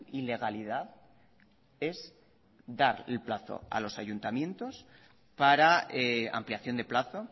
ilegalidad es dar el plazo a los ayuntamientos para ampliación de plazo